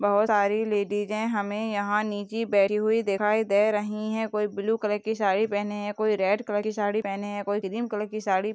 बहुत सारी लेडीजे हमें यहाँ नीची बैठी हुई दिखाई दे रही हैं कोई ब्लू कलर की साड़ी पहने है कोई रेड कलर की साड़ी पहने हैं कोई क्रीम कलर की साड़ी --